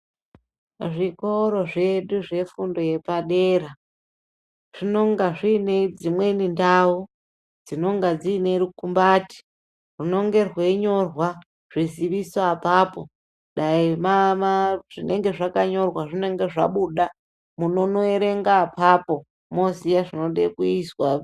Zvikoro zvedu zvefundo yepadera zvinonga zviine dzimweni ndau dzinonga dziine rukumbati runenge rweinyorwa zviziviso apapo, dai zvinenge zvakanyorwa zvinenge zvabuda, munonoerenga apapo, moziya zvinoda kuizwa.